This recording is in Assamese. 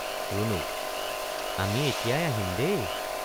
ৰুণুক—আমি এতিয়াই আহিম দেই।